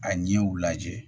A ɲɛw lajɛ